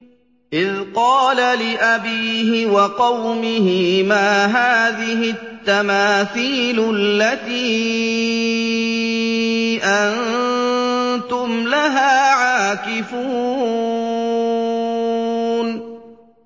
إِذْ قَالَ لِأَبِيهِ وَقَوْمِهِ مَا هَٰذِهِ التَّمَاثِيلُ الَّتِي أَنتُمْ لَهَا عَاكِفُونَ